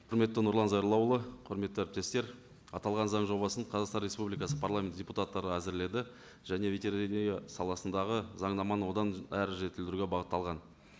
құрметті нұрлан зайроллаұлы құрметті әріптестер аталған заң жобасын қазақстан республикасы парламент депутаттары әзірледі және ветеренария саласындағы заңнаманы одан әрі жетілдіруге бағытталған